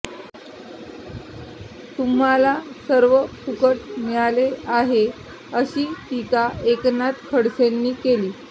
तुम्हाला सर्व फुकट मिळाले आहे अशी टीका एकनाथ खडसेंनी केली